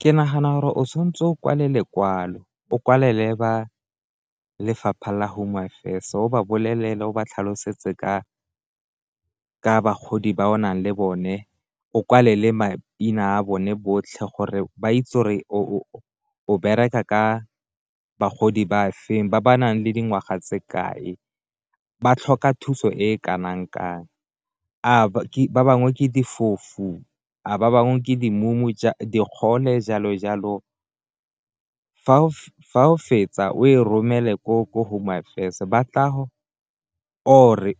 Ke nagana gore o tshwantse o kwale lekwalo, o kwalele ba lefapha la Home Affairs o ba bolelele o ba tlhalosetse ka bagodi ba o nang le bone o kwale le maina a bone botlhe gore ba itse re o bereka ka bagodi ba feng, ba ba nang le dingwaga tse kae, ba tlhoka thuso e kanang-kang a ba bangwe ke difofu, a ba bangwe ke di mumu, digole jalo jalo. Fa o fetsa o e romele ko Home Affairs ba tla go or-e